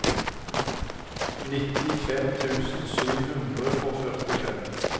nittifem tusen sju hundre og førtifem